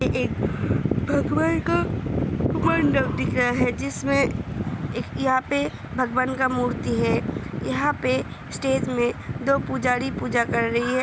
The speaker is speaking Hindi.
एक भगवान का मंडप दिख रहा है जिसमे यहाॅं पे भगवान का मूर्ति है यहाॅं पे स्टेज में दो पुजारी पूजा कर रहे हैं।